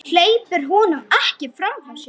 Hleypir honum ekki framhjá sér.